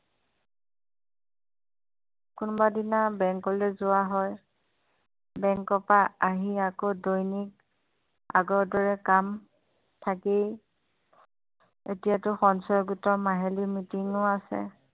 কোনোবাদিনা bank যোৱা হয় bank পৰা আহি আকৌ দৈনিক আগৰ দৰে কাম থাকেই এতিয়াটো সঞ্চয় গোটৰ মাহিলী meeting আছে